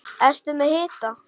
Ertu með hita?